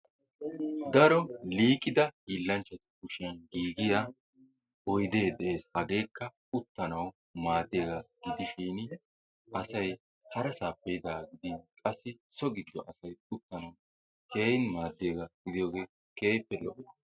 Daro liiqida hiillanchchatu kushiyan giigiyaa oydee de'ees hageekka uttanawu maaddiyaga gidishshin asay harassappe yiidaaga gidin qassi so gido asay uttanawu keehin maadiyagaa gidiyogee keehippe lo'o.